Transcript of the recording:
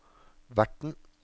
verten